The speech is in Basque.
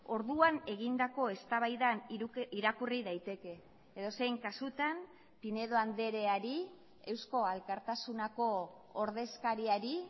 orduan egindako eztabaidan irakurri daiteke edozein kasutan pinedo andreari eusko alkartasuneko ordezkariari